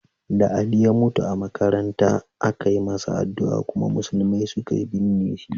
Da Ali ya mutu a makaranta, aka yi masa addu'a kuma musulmai suka binne shi.